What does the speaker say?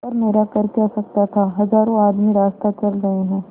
पर मेरा कर क्या सकता था हजारों आदमी रास्ता चल रहे हैं